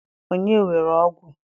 onye were ogwu?